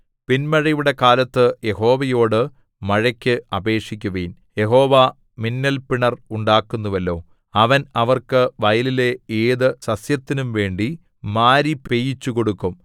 പിന്മഴയുടെ കാലത്ത് യഹോവയോടു മഴയ്ക്ക് അപേക്ഷിക്കുവിൻ യഹോവ മിന്നൽപിണർ ഉണ്ടാക്കുന്നുവല്ലോ അവൻ അവർക്ക് വയലിലെ ഏതു സസ്യത്തിനുംവേണ്ടി മാരി പെയ്യിച്ചുകൊടുക്കും